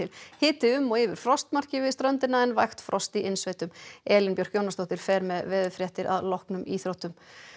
hiti um og yfir frostmarki við ströndina en vægt frost í innsveitum Elín Björk Jónasdóttir fer með veðurfréttir að loknum íþróttum